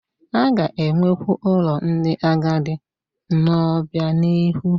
A ga-enwekwu ụlọ ndị agadi n'obianihu